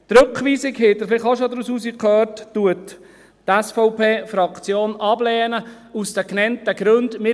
Die Rückweisung – das haben Sie vielleicht auch schon herausgehört – lehnt die SVP-Fraktion aus den genannten Gründen ab.